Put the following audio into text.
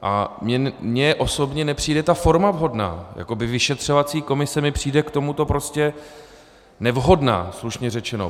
A mně osobně nepřijde ta forma vhodná, jakoby vyšetřovací komise mi přijde k tomuto prostě nevhodná, slušně řečeno.